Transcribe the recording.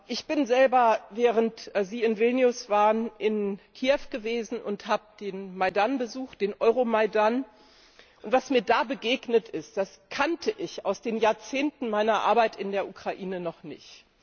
Ich bin selber, während Sie in Vilnius waren, in Kiew gewesen und habe den Euromaidan besucht. Was mir da begegnet ist, das kannte ich aus den Jahrzehnten meiner Arbeit in der Ukraine noch nicht.